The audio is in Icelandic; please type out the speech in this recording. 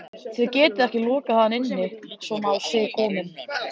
Þið getið ekki lokað hann inni svona á sig kominn